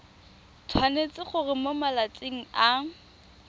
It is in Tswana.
tshwanetse gore mo malatsing a